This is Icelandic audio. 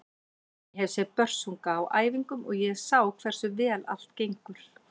Ég hef séð Börsunga á æfingum og ég sá hversu vel allt gengur.